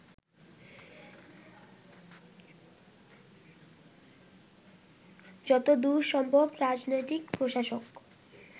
যতদূর সম্ভব রাজনৈতিক প্রশাসক